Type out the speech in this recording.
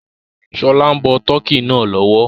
Ṣọlá ń bọ tọ́kì náà lọ́wọ́